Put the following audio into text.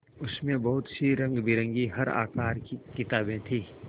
उसमें बहुत सी रंगबिरंगी हर आकार की किताबें थीं